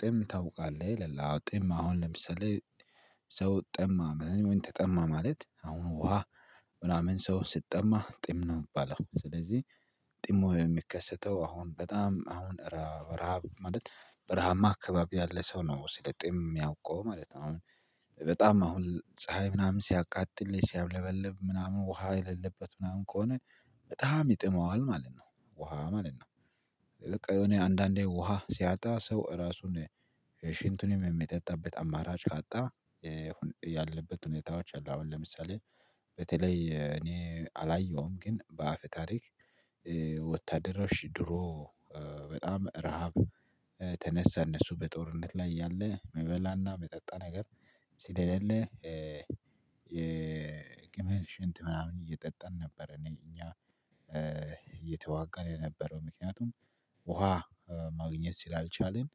ጥም ታውቃለህ ይላል አዎ ጥም አሁን ለምሳሌ ሰው ጠማ ማለት ወይን ተጠማ ማለት አሁኑ ውሃ ምናምን ሰው ስትጠማ ጥም ነው የሚባለው። ስለዚህ ጥሞ የሚከሰተው አሁን በጣም አሁን በረሃ ማለት ብረሃማ አካባቢያት ለሰው ነው ሲለጥም የሚያውቀው ማለት ነው። አሁን በጣም አሁን ፀሀይ ምናምን ሲያቃጥል ሲያብለበለብ ምናምን ውሃ የሌለበት ምናምን ከሆነ በጣም ይጥመዋል ማለት ነው። ውሃ ማለት ነው። በቃ የሆነ አንዳንዴ ውሃ ሲያጣ ሰው ራሱን ሽንቱን የሚጠጣበት አማራጭ ካጣ። ያለበት ሁኔታዎች አሉ። አሁን ለምሳሌ በተለይ እኔ አላየሁም ግን በአፍ ታሪክ ወታደሮች ድሮ በጣም ረሃብ ተነሳ እነሱ በጦርነት ላይ ያለ መበላና መጠጣ ነገር ሲደለልህ የቅመል ሽንት ምናምን እየጠጠን ነበር። እኔ እኛ እየተዋጋን የነበረው ምክንያቱም ውሃ ማግኘት ሲል አልቻልን